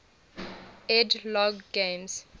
ed logg games